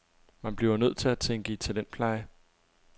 Man bliver nødt til at tænke i talentpleje.